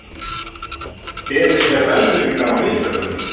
Beðist er velvirðingar á mistökunum